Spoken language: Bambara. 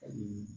Ani